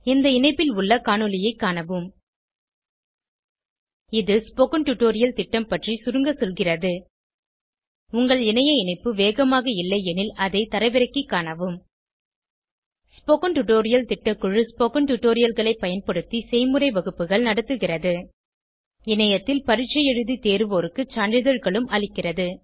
இந்த இணைப்பில் உள்ள காணொளியைக் காணவும் இது ஸ்போகன் டுடோரியல் திட்டம் பற்றி சுருங்க சொல்கிறது உங்கள் இணைய இணைப்பு வேகமாக இல்லையெனில் அதை தரவிறக்கிக் காணவும் ஸ்போகன் டுடோரியல் திட்டக்குழு ஸ்போகன் டுடோரியல்களைப் பயன்படுத்தி செய்முறை வகுப்புகள் நடத்துகிறது இணையத்தில் பரீட்சை எழுதி தேர்வோருக்கு சான்றிதழ்களும் அளிக்கிறது